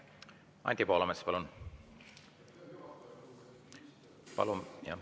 Anti Poolamets, palun!